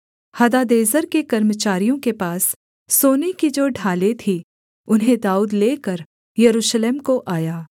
Hadadezer के कर्मचारियों के पास सोने की जो ढालें थीं उन्हें दाऊद लेकर यरूशलेम को आया